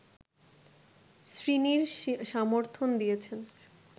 শ্রীনির সমর্থন দিয়েছেন